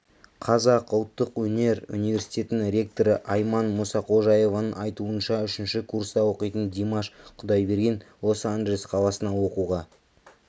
қазақ ұлттық өнер университетінің ректоры айман мұсақожаеваның айтуынша үшінші курста оқитын димаш құдайберген лос-анджелес қаласына оқуға